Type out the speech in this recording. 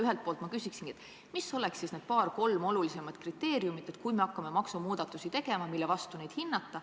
Ühelt poolt ma küsingi, mis oleks siis need paar-kolm olulisimat kriteeriumi, mida tuleks silmas pidada, kui me hakkame maksumuudatusi tegema.